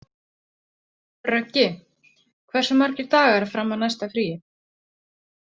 Röggi, hversu margir dagar fram að næsta fríi?